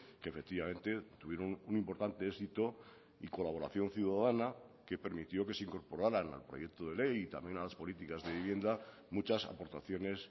que efectivamente tuvieron un importante éxito y colaboración ciudadana que permitió que se incorporaran al proyecto de ley y también a las políticas de vivienda muchas aportaciones